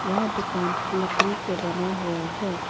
यह दुकान लकड़ी से बना हुआ है।